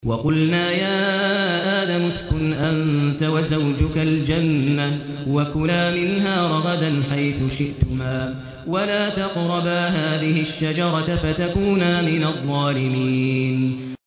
وَقُلْنَا يَا آدَمُ اسْكُنْ أَنتَ وَزَوْجُكَ الْجَنَّةَ وَكُلَا مِنْهَا رَغَدًا حَيْثُ شِئْتُمَا وَلَا تَقْرَبَا هَٰذِهِ الشَّجَرَةَ فَتَكُونَا مِنَ الظَّالِمِينَ